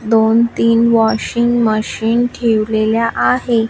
दोन तीन washing machine ठेवलेल्या आहे.